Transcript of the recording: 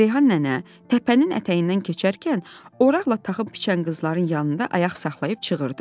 Reyhan nənə təpənin ətəyindən keçərkən oraqla taxıl biçən qızların yanında ayaq saxlayıb çığırdı.